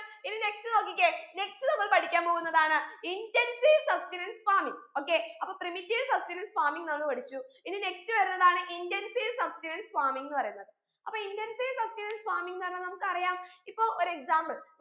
ഇനി next നോക്കിക്കേ next നമ്മൾ പഠിക്കാൻ പോകുന്നതാണ് intensive substenance farming okay അപ്പോ primitive substenance farming നമ്മൾ പഠിച്ചു ഇനി next വരുന്നതാണ് intensive substenance farming ന്ന് പറയുന്നത് അപ്പോ intensive substenance farming ന്ന് പറഞ്ഞാ നമുക്ക് അറയാം ഇപ്പോ ഒരു example